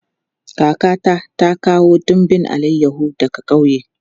Kakata ta kawo dumbin alayahu daga ƙauye.